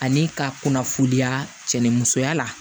Ani ka kunnafoniya cɛ ni musoya la